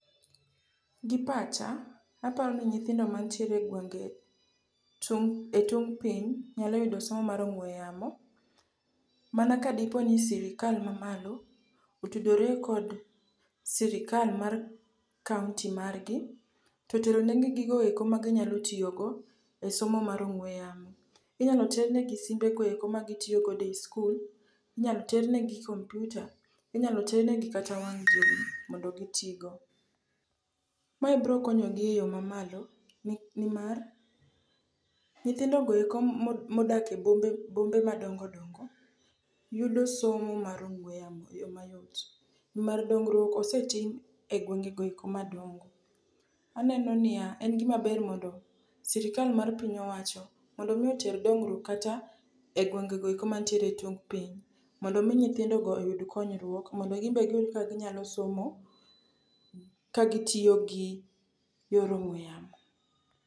Gi pacha, aparo ni nyithindo mantiere e gwenge e tung' piny nyalo yudom somo mar ong'we yamo mana ka dipo ni sirikal mamalo otudore kod sirikal mar kaonti margi toteronegi gigoeko maginyalo tiyogo e somo mar ong'we yamo. Inyalo ternegi simbego eko magitiyogodo e i skul, inyalo ternegi kompiuta, inyalo ternegi kata wang' jowi mondo gitigo. Mae brokonyogi e yo mamalo nimar nyithindogo eko modak e bombe madongodongo yudo somo mar ong'we yamo e yo mayot nimar dongeruok osetim e gwengego eko madongo. Aneno niya, en gimaber mondo sirikal mar piny owacho mondo omi oter dongruok kata e gwengego eko mantiere e tung' piny mondo omi nyithindogo oyud konyruok mondo gimbe giyud kaka inyalo somo kagitiyo gi yor ong'we yamo.